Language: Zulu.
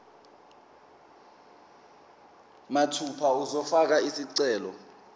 mathupha uzofaka isicelo